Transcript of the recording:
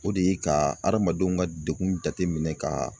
O de ye ka adamadenw ka degun jateminɛ ka